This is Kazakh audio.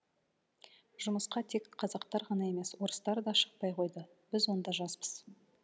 жұмысқа тек қазақтар ғана емес орыстар да шықпай қойды біз онда жаспыз